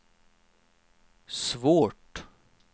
svårt